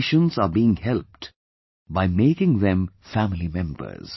patients are being helped by making them family members